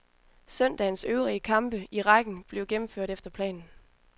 Søndagens øvrige kampe i rækken blev gennemført efter planen.